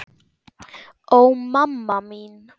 Ó, mamma mín.